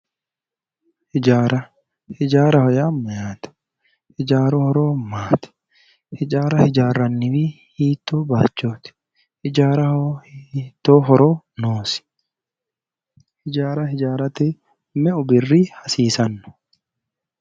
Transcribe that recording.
Hijaara. Hijaaraho yaa mayyaate? Hijaaru horo maati? Hijaara hijaarranniwi hiittoo bayichooti? Hijaaraho hiittoo horo noosi? Hijaara hijaarate meu birri hasiisanno?